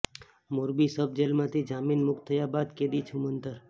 Morbi sub જેલમાંથી જામીન મુકત થયા બાદ કેદી છુમંતર